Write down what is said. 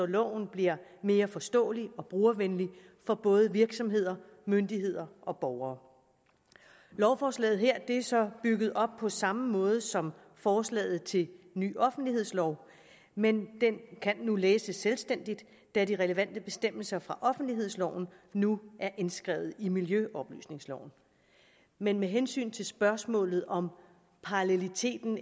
loven bliver mere forståelig og brugervenlig for både virksomheder myndigheder og borgere lovforslaget her er så bygget op på samme måde som forslaget til ny offentlighedslov men det kan nu læses selvstændigt da de relevante bestemmelser fra offentlighedsloven nu er indskrevet i miljøoplysningsloven med med hensyn til spørgsmålet om paralleliteten